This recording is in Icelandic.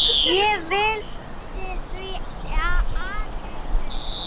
Ég velti því aðeins upp.